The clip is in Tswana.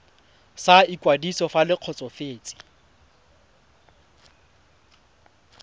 sa ikwadiso fa le kgotsofetse